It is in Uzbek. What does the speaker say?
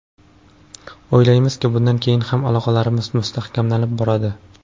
O‘ylaymizki, bundan keyin ham aloqalarimiz mustahkamlanib boradi.